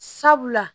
Sabula